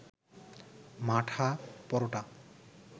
মাঠা, পরোটা